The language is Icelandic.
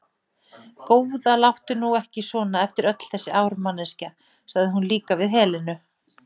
Góða, láttu nú ekki svona eftir öll þessi ár, manneskja, sagði hún líka við Helenu.